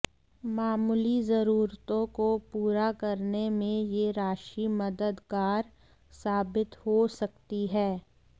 मामूली जरूरतों को पूरा करने में यह राशि मददगार साबित हो सकती है